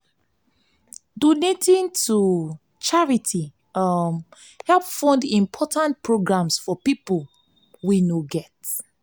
donating to charity um] help fund important programs for pipo wey no get.